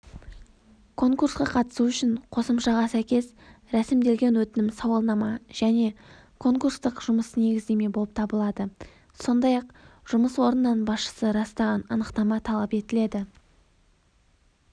конкурсқа қатысу үшін қосымшаға сәйкес рәсімделген өтінім-сауалнама және конкурстық жұмыс негіздеме болып табылады сондай-ақ жұмыс орнынан басшысы растаған анықтама талап етіледі